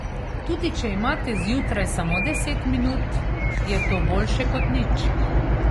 Tudi če imate zjutraj samo deset minut, je to boljše kot nič.